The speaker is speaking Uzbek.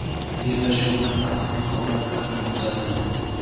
Bellashuvda bahsli holatlar ham kuzatildi.